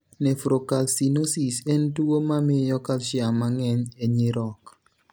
Nephrocalcinosis en tuwo mamiyo calcium mang'eny e nyirok.